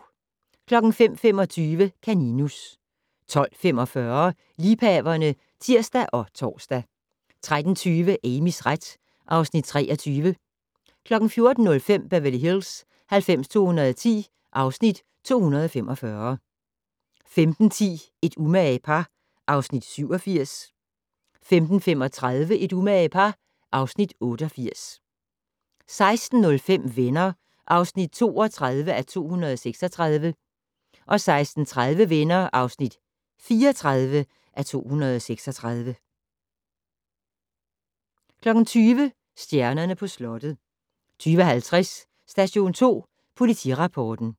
05:25: Kaninus 12:45: Liebhaverne (tir og tor) 13:20: Amys ret (Afs. 23) 14:05: Beverly Hills 90210 (Afs. 245) 15:10: Et umage par (Afs. 87) 15:35: Et umage par (Afs. 88) 16:05: Venner (32:236) 16:30: Venner (34:236) 20:00: Stjernerne på slottet 20:50: Station 2 Politirapporten